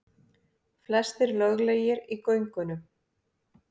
Flestir löglegir í göngunum